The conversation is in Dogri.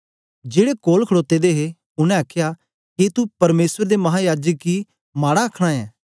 जेड़े कोल खड़ोते दे हे उनै आखया के तू परमेसर दे महायाजक गी माड़ा आखन ऐं